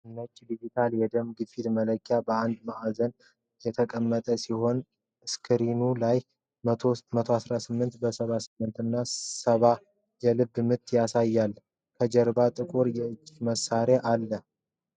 ነጭ ዲጂታል የደም ግፊት መለኪያ በአንድ ማዕዘን የተቀመጠ ሲሆን፣ ስክሪኑ ላይ 118 በ 78 እና 70 የልብ ምት ያሳያል። ከጀርባው ጥቁር የእጅ ማሰሪያው አለ።